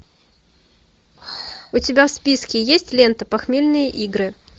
у тебя в списке есть лента похмельные игры